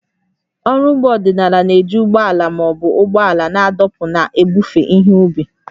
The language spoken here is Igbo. Ọrụ ugbo ọdịnala na-eji ụgbọ ala ma ọ bụ ụgbọala na-adọkpụ na-ebufe ihe ubi